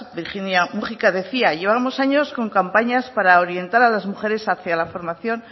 virginia múgica decía que llevamos años con campañas para orientar a las mujeres hacia la formación